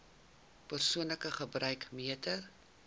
persoonlike gebruik meter